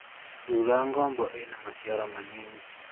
Thura ngombo ĩrĩ na maciaro manini.